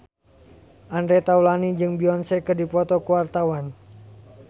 Andre Taulany jeung Beyonce keur dipoto ku wartawan